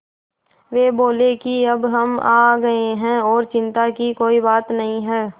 वे बोले कि अब हम आ गए हैं और चिन्ता की कोई बात नहीं है